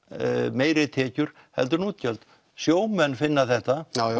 meiri tekjur heldur en útgjöld sjómenn finna þetta